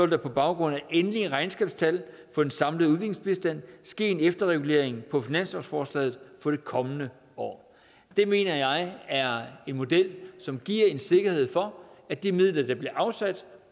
der på baggrund af endelige regnskabstal for den samlede udviklingsbistand ske en efterregulering på finanslovsforslaget for det kommende år det mener jeg er en model som giver en sikkerhed for at de midler der bliver afsat